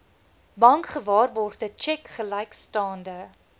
bankgewaarborgde tjek gelykstaande